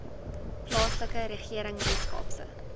plaaslike regering weskaapse